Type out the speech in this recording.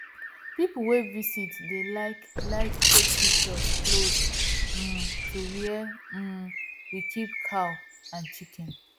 people wey visit dey like like take pictures close um to where um we keep cow and chicken